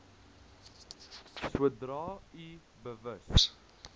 sodra u bewus